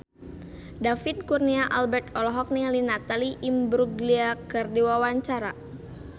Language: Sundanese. David Kurnia Albert olohok ningali Natalie Imbruglia keur diwawancara